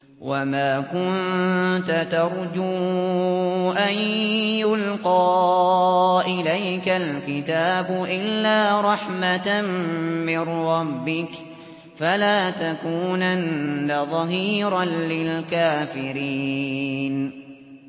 وَمَا كُنتَ تَرْجُو أَن يُلْقَىٰ إِلَيْكَ الْكِتَابُ إِلَّا رَحْمَةً مِّن رَّبِّكَ ۖ فَلَا تَكُونَنَّ ظَهِيرًا لِّلْكَافِرِينَ